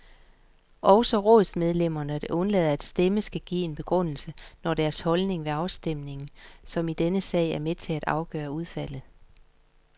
Også rådsmedlemmer, der undlader at stemme, skal give en begrundelse, når deres holdning ved afstemningen, som i denne sag, er med til at afgøre udfaldet.